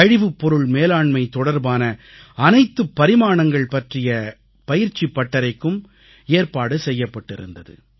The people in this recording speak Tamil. கழிவுப்பொருள் மேலாண்மை தொடர்பான அனைத்துப் பரிமாணங்கள் பற்றிய பயிற்சிப் பட்டறைக்கும் ஏற்பாடு செய்யப்பட்டிருந்தது